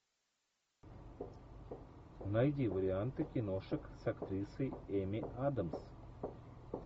найди варианты киношек с актрисой эми адамс